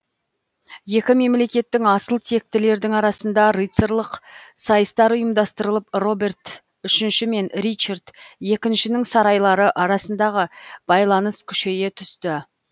екі мемлекеттің асыл тектілердің арасында рыцарлық сайыстар ұйымдастырылып роберт үшінші мен ричард екіншінің сарайлары арасындағы байланыс күшейе түсті